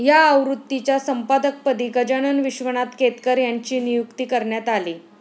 या आवृत्तीच्या संपादकपदी गजानन विश्वनाथ केतकर यांची नियुक्ती करण्यात आली.